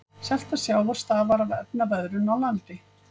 Selta sjávar stafar af efnaveðrun á landi.